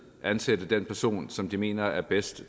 ansætte den person som de mener er bedst